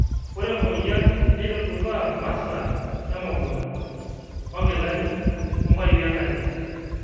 Ore emoyian neitudupaa mmasaa emukunta o nkilani o mpaipi enkare